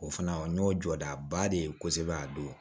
O fana o n'o jɔda ba de ye kosɛbɛ a don